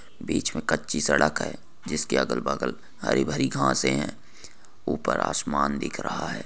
बीच में कच्ची सड़क है जिसके अगल बगल में हरी भरी घासे है ऊपर आसमान दिख रहा है।